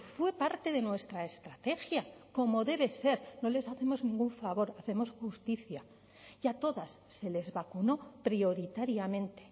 fue parte de nuestra estrategia como debe ser no les hacemos ningún favor hacemos justicia y a todas se les vacunó prioritariamente